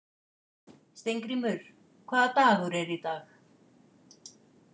Steingrímur, hvaða dagur er í dag?